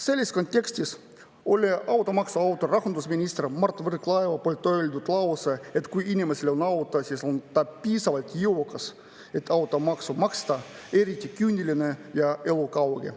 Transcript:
Selles kontekstis oli automaksu autori rahandusminister Mart Võrklaeva öeldud lause, et kui inimesel on auto, siis on ta piisavalt jõukas, et automaksu maksta, eriti küüniline ja elukauge.